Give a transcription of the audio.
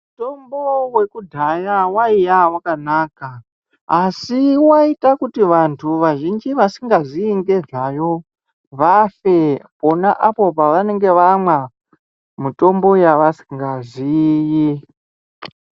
Mutombo wekudhaya waiya wakanaka asi waiita kuti vanhu vazhinji vasingaziyi ngezvayo vafe pona apo pavanenge vamwa mitombo yavanenge vasingaziiyi.